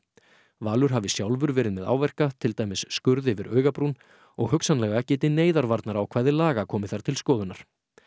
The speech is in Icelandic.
Valur hafi sjálfur verið með áverka til dæmis skurð yfir augabrún og hugsanlega geti laga komið þar til skoðunar